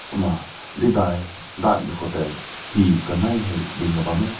ma deui dai dai mei ko tai he kanai dingna bam meh.